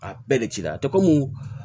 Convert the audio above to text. A bɛɛ de cira te komi